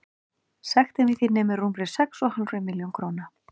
Sektin við því nemur rúmri sex og hálfri milljón króna.